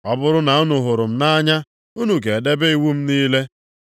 “Ọ bụrụ na unu hụrụ m nʼanya unu ga-edebe iwu m niile.